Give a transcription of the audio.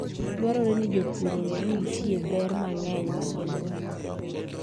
Dwarore ni jopur ong'e ni nitie ber mang'eny ma gin - go.